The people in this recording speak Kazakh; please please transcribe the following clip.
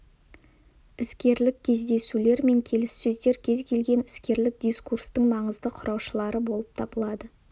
іскерлік кездесулер мен келіссөздер кез келген іскерлік дискурстың маңызды құраушылары болып табылады